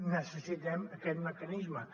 necessitem aquest mecanisme